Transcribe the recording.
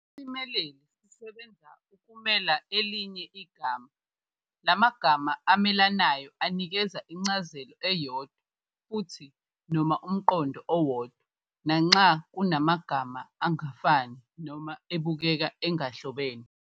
Isimeleli sisebenza ukumela elinye igama, la magama amelanayo anikeza incazelo eyodwa futhi noma umqondo owodwa nanxa kungamagama angafani noma abukeka engahlobene.